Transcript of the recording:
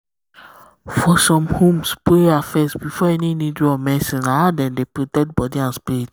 for some homes prayer first before any needle or medicine na how dem dey protect body and spirit.